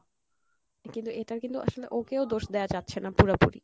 কিন্তু এটার কিন্তু আসলে ওকেও দোষ দেওয়া যাচ্ছে না পুরাপুরি